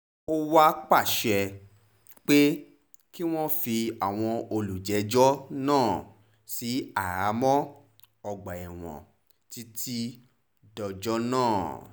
ó wàá pàṣẹ pé kí wọ́n fi àwọn olùjẹ́jọ́ náà sí àhámọ́ ọgbà ẹ̀wọ̀n títí dọjọ́ náà